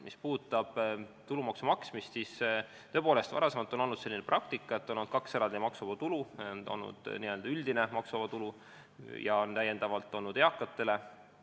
Mis puudutab tulumaksu maksmist, siis tõepoolest, varem on olnud selline praktika, et on olnud kaks eraldi maksuvaba tulu: on olnud n-ö üldine maksuvaba tulu ja on olnud eakate maksuvaba tulu.